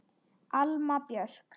Alma Björk.